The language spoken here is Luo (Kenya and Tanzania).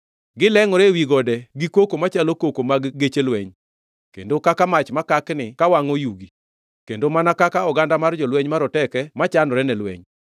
Gilengʼore ewi gode gi koko machalo koko mag geche lweny, kendo kaka mach makakni kawangʼo yugi, kendo mana kaka oganda mar jolweny maroteke machanore ne lweny.